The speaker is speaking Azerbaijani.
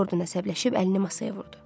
Jordan əsəbləşib əlini masaya vurdu.